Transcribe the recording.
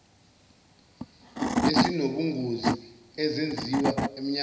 esinobungozi ezenziwa emnyangweni